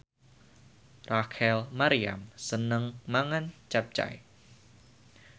Rachel Maryam seneng mangan capcay